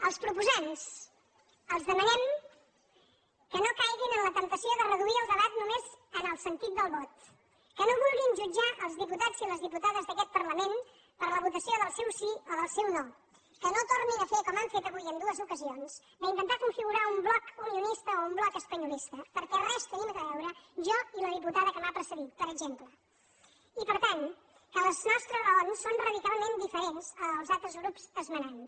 als proposants els demanem que no caiguin en la temptació de reduir el debat només al sentit del vot que no vulguin jutjar els diputats i les diputades d’aquest parlament per la votació del seu sí o del seu no que no tornin a fer com han fet avui en dues ocasions d’intentar configurar un bloc unionista o un bloc espanyolista perquè res tenim a veure jo i la diputada que m’ha precedit per exemple i per tant que les nostres raons són radicalment diferents dels altres grups esmenants